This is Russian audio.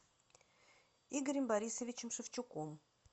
игорем борисовичем шевчуком